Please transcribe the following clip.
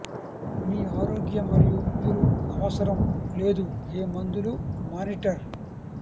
మీ ఆరోగ్య మరియు మీరు అవసరం లేదు ఏ మందులు మానిటర్